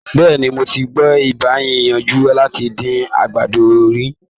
Bẹ́ẹ̀ni, mo ti gbìyànjú láti dín àgbàdo rí.